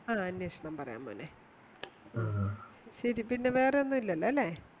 ആഹ് അന്നേഷണം പറയാം മോനേ ശരി പിന്നെവേറെയൊന്നുല്ല്യല്ലോ ല്ലേ